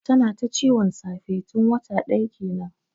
Tana ta ciwon safe tun wata daya kenan.